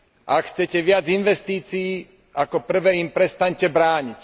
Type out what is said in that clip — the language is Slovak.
Ak chcete viac investícii, ako prvé im prestaňte brániť.